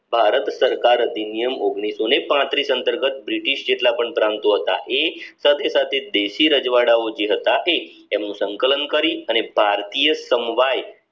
ભારત સરકાર અધિનિયમ અંતર્ગત બ્રિટિશ જેટલા પણ પ્રાંતો હતા એ સાથે સાથે દેશી રજવાડાઓ જે હતા તે એમનું સંકલન કરી અને ભારતીય સંવાદ